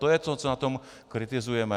To je to, co na tom kritizujeme.